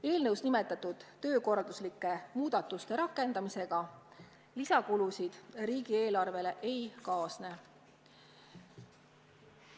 Eelnõus nimetatud töökorralduslike muudatuste rakendamisega lisakulusid riigieelarvele ei kaasne.